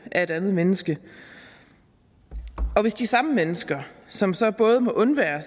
af et andet menneske og hvis de samme mennesker som så både må undvære